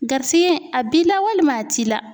Garisigɛ a b'i la walima a t'i la.